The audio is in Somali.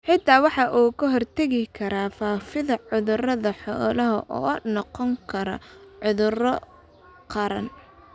Xitaa waxa uu ka hortagayaa faafidda cudurrada xoolaha oo noqon kara cudurro qaran.